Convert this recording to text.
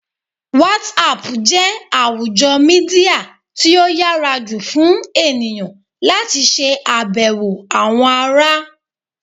WhatsApp jẹ́ àwùjọ Mídíà tí ó yára jù fún ènìyàn láti ṣe abewo àwọn ará.